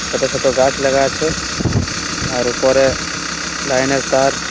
ছোট ছোট গাছ লাগা আছে আর উপরে লাইন -এর তার।